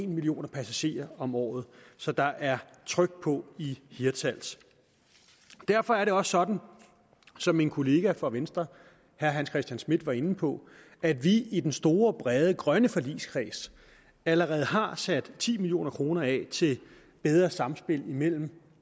millioner passagerer om året så der er tryk på i hirtshals derfor er det også sådan som min kollega fra venstre herre hans christian schmidt var inde på at vi i den store brede grønne forligskreds allerede har sat ti million kroner af til bedre samspil mellem